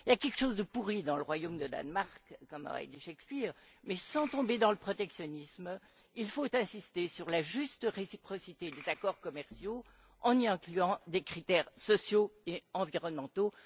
Il y a quelque chose de pourri au royaume du Danemark, comme aurait dit Shakespeare mais, sans tomber dans le protectionnisme, il faut insister sur la juste réciprocité des accords commerciaux en y incluant des critères sociaux et environnementaux.